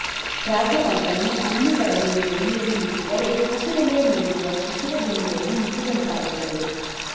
ರಾಘವಾಂಕನು ಅನನುಕರಣೀಯ ಶೈಲಿಯನ್ನು ಮುಟ್ಟಿದರೆ ಹಸುರೆಲೆಯ ಮೇಲಿರುವ ಶಿಶಿರ ಬಿಂದುವನ್ನು ಮುಟ್ಟಿದಂತಾಗುತ್ತದೆ